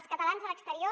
els catalans a l’exterior